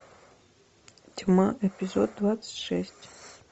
тьма эпизод двадцать шесть